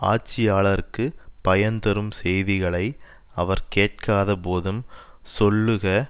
ஆட்சியாளருக்குப் பயன்தரும் செய்திகளை அவர் கேட்காத போதும் சொல்லுக